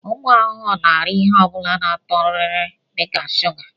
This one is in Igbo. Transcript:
Ụmụ ahụhụ na-ara ihe ọ bụla ná-atọ rịrị dịka shuga.